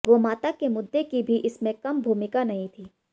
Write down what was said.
गोमाता के मुद्दे की भी इसमें कम भूमिका नहीं थी